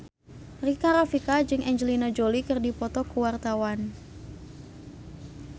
Rika Rafika jeung Angelina Jolie keur dipoto ku wartawan